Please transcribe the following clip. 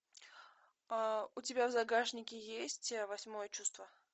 у тебя в загашнике есть восьмое чувство